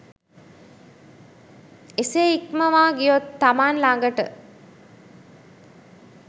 එසේ ඉක්මවා ගියොත් තමන් ළඟට